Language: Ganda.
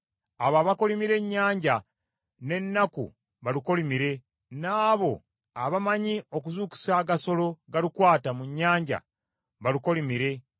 Abo abakolimira ennyanja n’ennaku balukolimire, n’abo abamanyi okuzuukusa agasolo galukwata mu nnyanja, balukolimire.